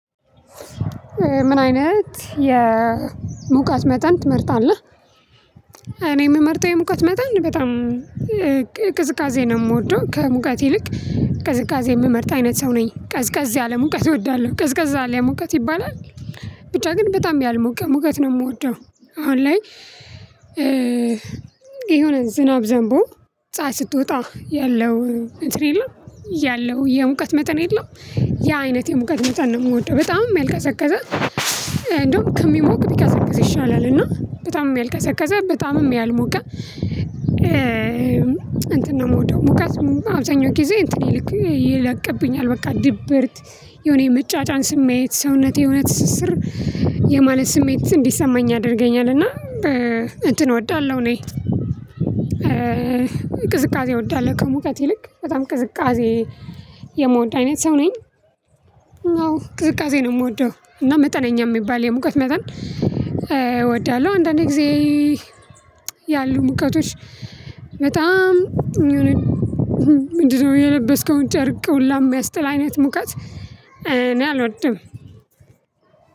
ምን አይነት የሙቀት መጠን ትመርጣለህ? እኔ የምመርጠው የሙቀት መጣን በጣም ቅዝቃዜ ነው የምወደው ከሙቀት ይልቅ ቅዝቃዜ የምመርጥ አይነት ሰው ነኝ ቀዝቃዝ ያለ ሙቀት እወዳለሁ ቀዝቀዝ ያለ ሙቀት ይባላል። ብቻ ግን በጣም ያልሞቀ ሙቀት ነው የምወደው። አሁን ላይ የሆነ ዝናብ ዘንቦ ፀሀይ ስትወጣ ያለው እንትን የለም ያለው የሙቀት መጠን የለም። ያ አይነት የሙቀት መጠን ነው የምወደው በጣም ያልቀዘቀዘ። እንደውም ከሚሞቅ ቢቀዘቅዝ ይሻላል። እና በጣም ያልቀዘቀዘ በጣምም ያልሞቀ እንትን ነው የምወደው። ሙቀት አብዛኛውን ጊዜ እንትን ይልክ ይለቅብኛል። በቃ ድብርት የሆነ የመጫጫን ስሜት ሰውነቴ የሆነ ትስስር የማለት ስሜት እንዲሰማኝ ያደርገኛል። እና እንትን እወዳለሁ። እኔ ቅዝቃዜ እወዳለሁ ከሙቀት ይልቅ በጣም ቅዝቃዜ የምወድ አይነት ሰው ነኝ። አዎ ቅዝቃዜ ነው የምወደው እና መጠነኛ የሚባል የሙቀት መጠን እወዳለሁ። አንዳንድ ጊዜ ያሉ ሙቀቶች በጣም የሆነ ምንድነው የለበስከውን ጨርቅ ሁላ የሚያስጥል አይነት ሙቀት እኔ አልወድም።